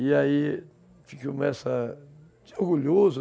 E aí, começa, fica orgulhoso.